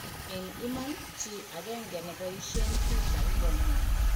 En iman, chi agenge neboishen Twitter kokamwa.